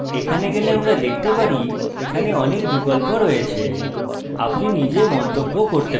যদি আমরা এখানে যাই আমরা দেখতে পারি যে এখানে অনেক বিকল্প আছে